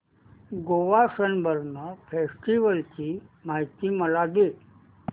Goa Sunburn festival ची माहिती मला दे